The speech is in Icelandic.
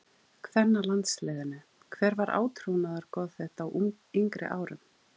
kvennalandsliðinu Hver var átrúnaðargoð þitt á yngri árum?